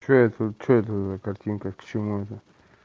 что это что это за картинка к чему это